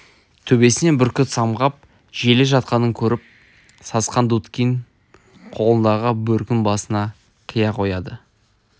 төбесінен бүркіт самғап желе жатқанын көріп сасқан дудкин қолындағы бөркін басына кие қояды